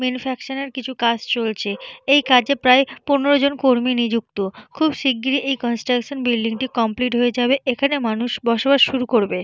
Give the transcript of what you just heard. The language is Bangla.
ম্যানুফাকচারের কিছু কাজ চলছে। এই কাজে প্রায় পনেরো কর্মী নিযুক্ত। খুব শিগগিরই এই কনস্ট্রাকশন বিল্ডিংটি কমপ্লিট হয়ে যাবে। এখানে মানুষ বসবাস শুরু করবে।